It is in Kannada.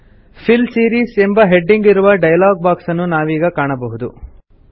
ಫಿಲ್ ಸೀರೀಸ್ ಎಂಬ ಹೆಡಿಂಗ್ ಇರುವ ಡೈಲಾಗ್ ಬಾಕ್ಸ್ ನ್ನು ನಾವೀಗ ಕಾಣಬಹುದು